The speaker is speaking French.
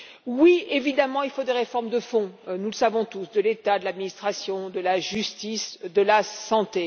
Oui, évidemment, il faut des réformes de fond et nous le savons tous de l'État, de l'administration, de la justice, de la santé.